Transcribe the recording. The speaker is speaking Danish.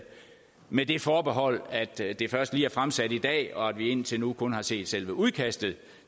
med det forbehold at det det først lige er fremsat i dag og at vi indtil nu kun har set selve udkastet